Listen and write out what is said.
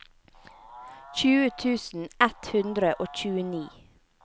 tjue tusen ett hundre og tjueni